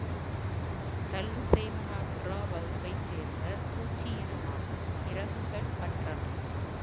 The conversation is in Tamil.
தெள்ளு சைபெனொப்டெரா வகுப்பை சேர்ந்த பூச்சி இனமாகும் இறகுகள் அற்றவை